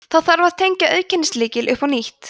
þá þarf að tengja auðkennislykil upp á nýtt